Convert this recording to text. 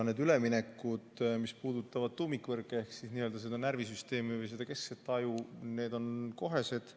Need üleminekud, mis puudutavad tuumikvõrke ehk seda närvisüsteemi või keskset aju, on kohesed.